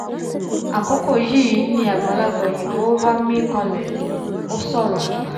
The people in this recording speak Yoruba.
àkókò yìí ni àgbàlagbà òyìnbó bá mín kànlẹ̀ ó sọ̀rọ̀ àgbà